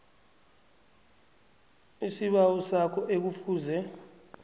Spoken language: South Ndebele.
isibawo sakho ekufuze